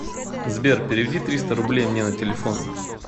сбер переведи триста рублей мне на телефон